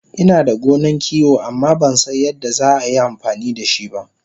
Inada gonan kiwo amma Bansan yadda za a yi amfani dashiba